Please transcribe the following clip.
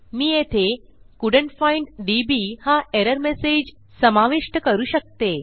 मी येथे couldn't find DB हा error message समाविष्ट करू शकते